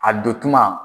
A don tuma